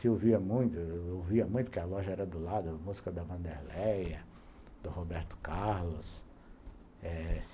Eu ouvia muito, porque a loja era do lado, a música da Wanderleia, do Roberto Carlos.